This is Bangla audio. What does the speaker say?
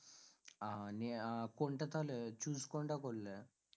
আহ নিয়ে আহ কোনটা তাহলে choose কোনটা করলে?